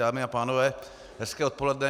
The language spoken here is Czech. Dámy a pánové, hezké odpoledne.